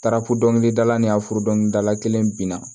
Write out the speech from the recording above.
Taara ko dɔnkilidala ni a furu dɔnkilidala kelen binna